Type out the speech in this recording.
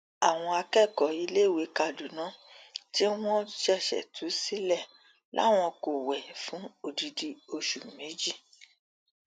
àwọn akẹkọọ iléèwé kaduna tí wọn ṣẹṣẹ tú sílẹ làwọn kò wẹ fún odidi oṣù méjì